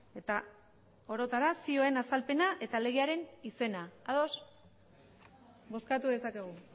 eta orotara zioen azalpena eta legearen izena ados bozkatu dezakegu